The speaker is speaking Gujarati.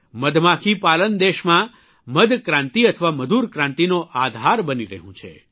મધમાખી પાલન દેશમાં મધક્રાંતિ અથવા મધુર ક્રાંતિનો આધાર બની રહ્યું છે